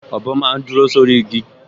Ọ̀bọ máa n dúró sórí igi